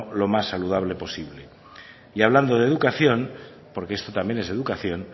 lo más saludable posible y hablando de educación porque esto también es educación